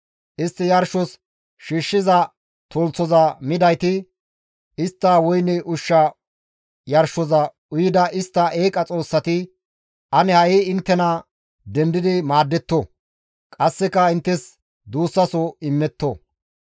Istti yarshos shiishshiza tolthoza midayti, istta woyne ushsha yarshoza uyida istta eeqa xoossati ane ha7i inttena dendi maaddetto; qasseka inttes duussaso immetto.